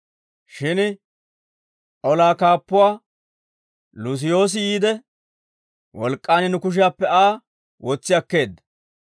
shin olaa kaappuwaa Luusiyoosi yiide, wolk'k'aan nu kushiyaappe Aa wotsi akkeedda.